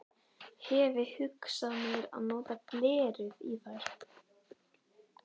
Hefi hugsað mér að nota glerið í þær.